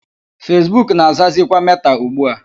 Fesbuk na-azazikwa Meta ugbu a.